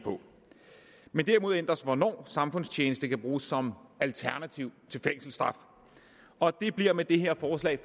men derimod ændres hvornår samfundstjeneste kan bruges som alternativ til fængselsstraf og det bliver med det her forslag